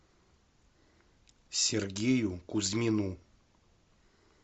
сергею кузьмину